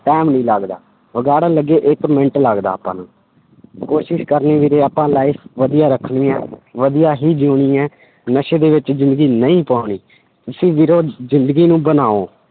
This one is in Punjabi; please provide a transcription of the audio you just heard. time ਨਹੀਂ ਲੱਗਦਾ, ਵਿਗਾੜਨ ਲੱਗੇ ਇੱਕ ਮਿੰਟ ਲੱਗਦਾ ਆਪਾਂ ਨੂੰ ਕੋਸ਼ਿਸ਼ ਕਰਨੀ ਵੀਰੇ ਆਪਾਂ life ਵਧੀਆ ਰੱਖਣੀ ਹੈ ਵਧੀਆ ਹੀ ਜਿਊਣੀ ਹੈ, ਨਸ਼ੇ ਦੇ ਵਿੱਚ ਜ਼ਿੰਦਗੀ ਨਹੀਂ ਪਾਉਣੀ, ਤੁਸੀਂ ਵੀਰੇ ਜ਼ਿੰਦਗੀ ਨੂੰ ਬਣਾਓ,